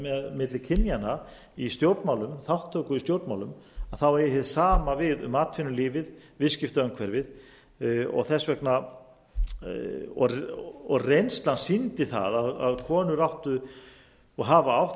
milli kynjanna í stjórnmálum þátttöku í stjórnmálum þá eigi það sama við um atvinnulífið viðskiptaumhverfið og reynslan sýndi það að konur áttu og hafa átt